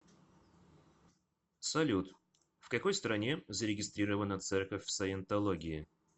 салют в какой стране зарегистрирована церковь саентологии